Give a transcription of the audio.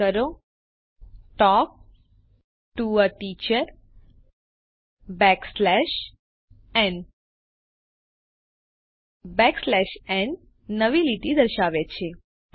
type કરો talk to a teacher backslash n backslash n n નવી લીટી દર્શાવે છે